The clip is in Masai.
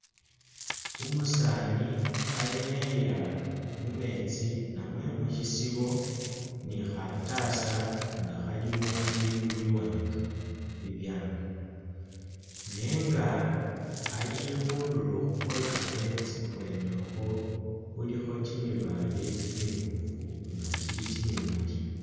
Umusani khayenyayila mumetsi namwe mushisibo ni'khatasa nga khalimo bibindu biwanga bibyangu nenga alikhundulo khwekametsi khubwenekhwo khulikho kyimimale kyimibofu nga'kyili kyimimali